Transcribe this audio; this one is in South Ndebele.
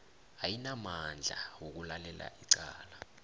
ayinamandla wokulalela icala